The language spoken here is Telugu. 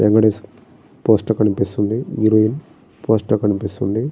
వెంకటేష్ పోస్ట్ కనిపిస్తుంది హీరోయిన్ పోస్ట్ ట కనిపిస్తుంది.